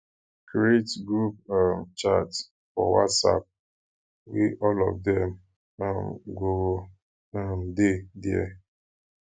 create group um chat for whatsapp wey all of dem um go um de there